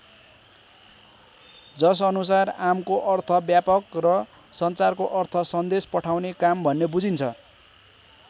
जस अनुसार आमको अर्थ ब्यापक र सञ्चारको अर्थ सन्देश पठाउने काम भन्ने बुझिन्छ।